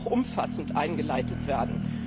Es kann auch umfassend eingeleitet werden.